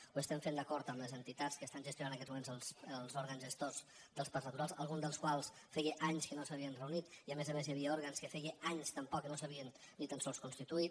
ho estem fent d’acord amb les entitats que estan gestionant en aquests moments els òrgans gestors dels parcs naturals alguns dels quals feia anys que no s’havien reunit i a més a més hi havia òrgans que feia anys també que no s’havien ni tan sols constituït